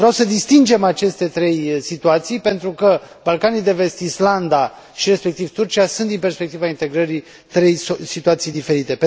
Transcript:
Vreau să distingem aceste trei situații pentru că Balcanii de Vest, Islanda și, respectiv, Turcia, sunt din perspectiva integrării, trei situații diferite.